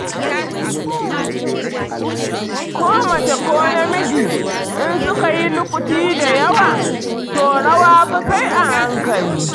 Ko mace ko namiji, in suka yi lukuti da yawa, to rawa fa sai a hankali.